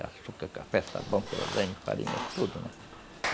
Açúcar, café, sabão, farinha, tudo, né?